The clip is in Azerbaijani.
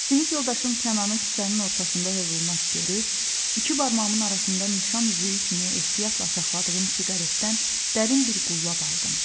Sinif yoldaşım Kənanı küçənin ortasında hövlnak görüb, iki barmağımın arasında nişan üzüyü kimi ehtiyatla saxladığım siqaretdən dərin bir qullab aldım.